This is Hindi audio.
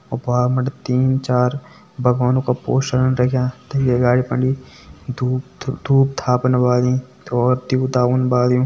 बिटि तीन चार भगवान का पोस्टर रख्यां तै का अगाड़ी फणि धुप धुप-धाप द्यु त फून डाल्युं।